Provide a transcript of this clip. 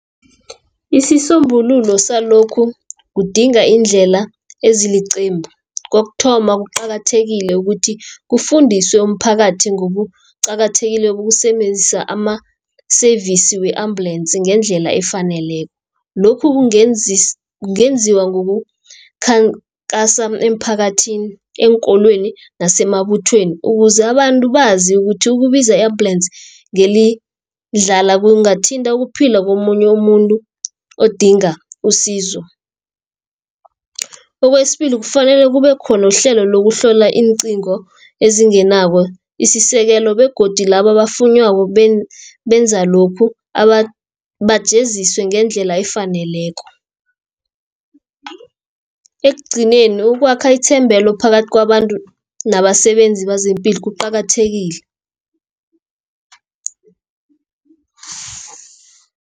Isisombululo salokhu, kudinga iindlela eziliqembu kokuthoma kuqakathekile ukuthi kufundiswe umphakathi, ngokuqakathekileko ukusebenzisa ama-service, we-ambulensi ngendlela efaneleko. Lokhu kungenziwa ngokukhankasa emphakathini, eenkolweni nasemabuthweni, ukuze abantu bazi ukuthi ukubiza i-ambulensi ngelidlala kungathinta ukuphila komunye umuntu odinga usizo. Kwesibili kufanele kube khona uhlelo lokuhlola iincingo ezingenako isisekelo, begodu laba abafunywako benza lokhu bajeziswe ngendlela efaneleko. Ekugcineni ukwakha ithembelo phakathi kwabantu nabasebenzi bezepilo kuqakathekile.